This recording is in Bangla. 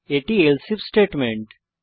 এটি else আইএফ স্টেটমেন্ট